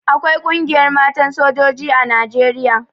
Akwai Ƙungiyar Matan Sojoji a Nijeriya.